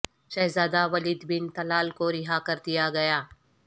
شہزاد ہ Walid bin Talal کو رہا کردیا گیا